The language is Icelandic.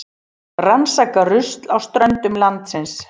Rannsaka rusl á ströndum landsins